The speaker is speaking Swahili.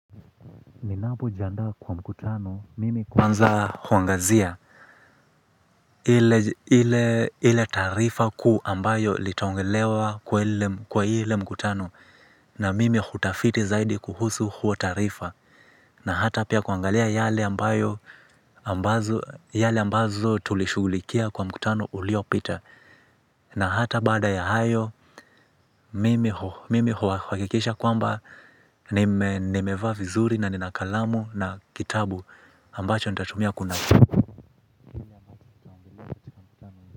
Ninapojiandaa kwa mkutano mimi kwanza huangazia. Ile tarifa kuu ambayo litaongelewa kwa ile mkutano. Na mimi hutafiti zaidi kuhusu huo tarifa. Na hata pia kuangalia yale ambayo ambazo, yale ambazo tulishugulikia kwa mkutano uliopita. Na hata bada ya hayo mimi mimi huhakikisha kwamba nimeva vizuri na nina kalamu na kitabu. Ambacho nitatumia kunukuu.